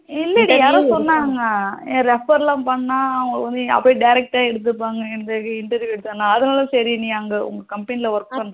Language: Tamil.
இல்ல டி யாரோ சொன்னாங்க refer லாம் பண்ணா அவங்க வந்து direct ஆ எடுத்துப்பாங்க இந்த interview அதனால் தான் சரி நீ அங்க உங்க company work பண்ற